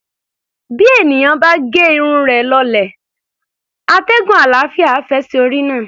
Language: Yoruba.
Bí èèyàn bá ge irun rẹ̀ lọlẹ̀, atẹ́gùn àlàáfíà á fẹ́ sí orí náà.